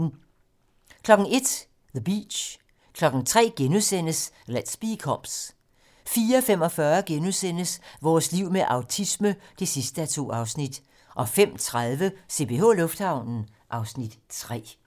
01:00: The Beach 03:00: Let's Be Cops * 04:45: Vores liv med autisme (2:2)* 05:30: CPH Lufthavnen (Afs. 3)